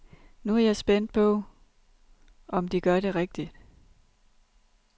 Nu er jeg spændt på, om de gør det rigtigt.